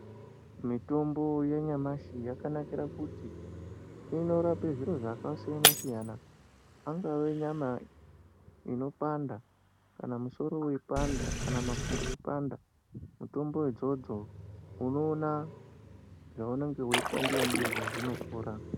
Mitombo yanyamashi yakanakira kuti inorape zviro zvakasiyana siyana ingave nyama inopanda kana musoro weipanda kana makumbo eipanda mutombo idzodzo unoona zvaunenge weipandiwa ndizvo zvinopora .